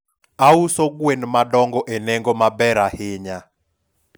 auso gwen madongo e nengo maber ahinya